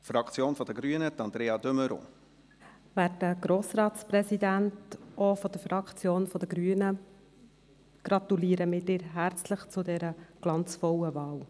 Werter Grossratspräsident, auch seitens der Fraktion der Grünen gratulieren wir Ihnen herzlich zu dieser glanzvollen Wahl.